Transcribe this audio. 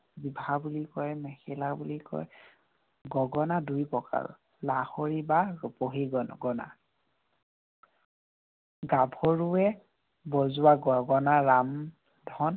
ৰিহা বুলি কয়, মেখেলা বুলি কয়, গগনা দুই প্ৰকাৰৰ। লাহৰী বা ৰূপহী গগনা। গাভৰুৱে বজোৱা গগনা ৰামধন